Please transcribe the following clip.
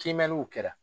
Kimɛnniw kɛra